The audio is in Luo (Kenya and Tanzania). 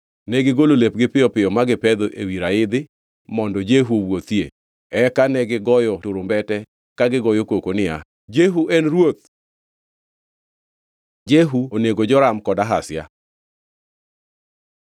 Negigolo lepgi piyo piyo ma gipedho ewi raidhi mondo Jehu owuothie. Eka negigoyo turumbete ka gigoyo koko niya, “Jehu en ruoth!” Jehu onego Joram kod Ahazia